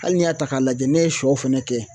Hali n'i y'a ta k'a lajɛ ne ye sɔ fɛnɛ kɛ